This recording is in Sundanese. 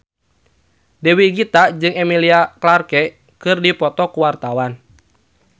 Dewi Gita jeung Emilia Clarke keur dipoto ku wartawan